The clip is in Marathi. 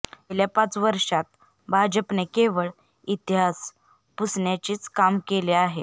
गेल्या पाच वर्षांत भाजपने केवळ इतिहास पुसण्याचेच काम केले आहे